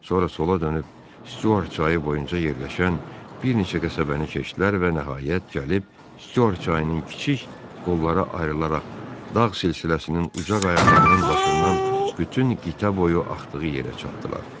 Sonra sola dönüb, Stüart çayı boyunca yerləşən bir neçə qəsəbəni keçdilər və nəhayət gəlib Stüart çayının kiçik qollara ayrılaraq dağ silsiləsinin uzaq əyərlərinin başından bütün qitə boyu axdığı yerə çatdılar.